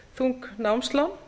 þung námslán